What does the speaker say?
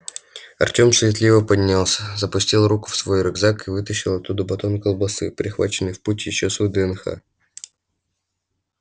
артём суетливо поднялся запустил руку в свой рюкзак и вытащил оттуда батон колбасы прихваченный в путь ещё с вднх